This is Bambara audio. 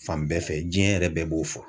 Fan bɛɛ fɛ jiɲɛ yɛrɛ bɛɛ b'o fɔ.